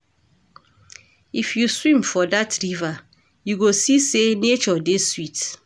If you swim for dat river, you go see sey nature dey sweet.